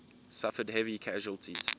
suffered heavy casualties